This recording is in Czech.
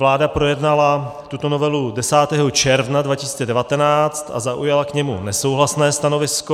Vláda projednala tuto novelu 10. června 2019 a zaujala k ní nesouhlasné stanovisko.